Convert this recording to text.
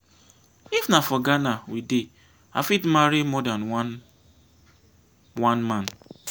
if na for ghana we dey i fit marry more than than one man.